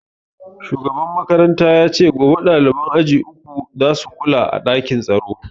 Shugaban makaranta ya ce gobe ɗaliban aji uku za su kula a ɗakin tsaro